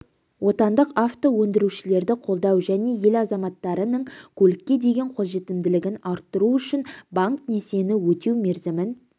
отандық авто өндірушілерді қолдау және ел азаматтарының көлікке деген қолжетімділігін арттыру үшін банк несиені өтеу мерзімін